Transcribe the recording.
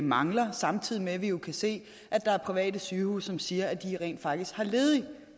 mangler samtidig med at vi jo kan se at der er private sygehuse som siger at de rent faktisk har ledig